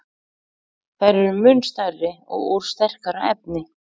Þær eru mun stærri og úr sterkara efni.